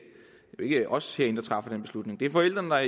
os herinde der træffer den beslutning det er forældrene der